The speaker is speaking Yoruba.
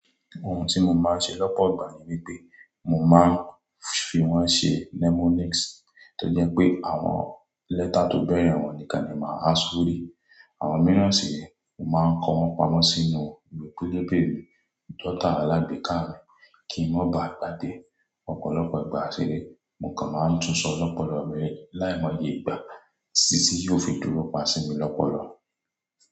Ohun tí mo máa ń ṣe lọ́pọ̀ ìgbà ni wípé, mo máa ń fi wón ṣi mnemonics tó jẹ́ pé àwọn lẹ́tà tó bẹ̀rẹ̀ wọn nìkan ni máa ṣírí. Àwọn mìíràn sì re, máa ń kọ wọ́n pamọ́ sínú iwé pelebe mi, jọ́tà alágbèéká mi kí ń má ba à gbágbe ọ̀pọ̀lọpọ̀ ìgbà ṣeré. Mo kàn máa ń tún sọ ọ́ lọ́pọ̀lọpọ̀ ọ̀rẹ́ láìmọye ìgbà tí yóò fi dúró pan sí mi lọ́pọ̀lọpọ̀